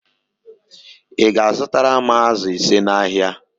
Ị ga-azụtara m ázụ̀ ise n'ahịa